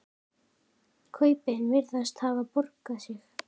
Kaupin virðast hafa borgað sig.